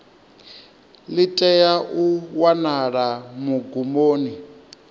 ḽi tea u wanala magumoni